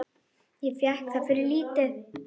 Ég fékk það fyrir lítið.